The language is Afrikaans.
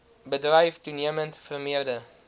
bedryf toenemend vermeerder